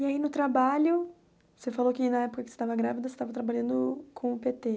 E aí no trabalho, você falou que na época que você estava grávida, você estava trabalhando com o pê tê.